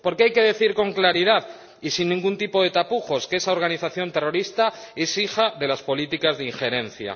Porque hay que decir con claridad y sin ningún tipo de tapujos que esa organización terrorista es hija de las políticas de injerencia.